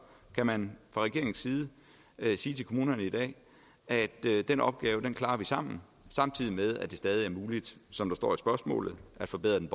kan man fra regeringens side sige til kommunerne i dag at den opgave klarer vi sammen samtidig med at det stadig er muligt som der står i spørgsmålet at forbedre den